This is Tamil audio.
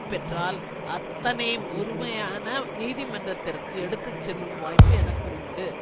பெற்றால் அத்தனை முறுமையான நீதிமன்றத்திற்கு எடுத்து செல்லும் வாய்ப்பு எனக்கு உண்டு